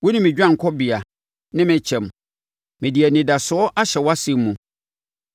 Wone me dwanekɔbea ne me kyɛm; mede mʼanidasoɔ ahyɛ wʼasɛm mu.